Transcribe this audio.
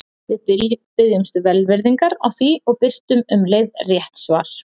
Við biðjumst velvirðingar á því og birtum um leið rétt svar.